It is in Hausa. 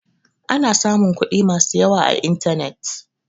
Ana samun kuɗi masu yawa a intanet.